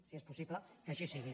si és possible que així sigui